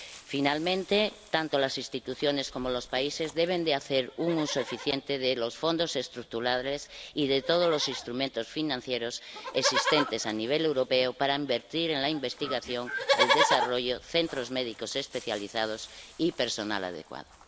Finalmente, tanto las instituciones como los países deben hacer un uso eficiente de los Fondos Estructurales y de todos los instrumentos financieros existentes a nivel europeo para invertir en investigación, desarrollo, centros médicos especializados y personal adecuado.